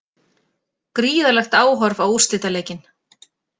Gríðarlegt áhorf á úrslitaleikinn